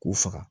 K'u faga